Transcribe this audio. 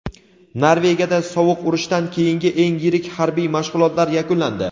Norvegiyada sovuq urushdan keyingi eng yirik harbiy mashg‘ulotlar yakunlandi.